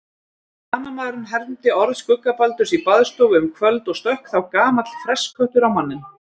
Banamaðurinn hermdi orð skuggabaldurs í baðstofu um kvöld og stökk þá gamall fressköttur á manninn: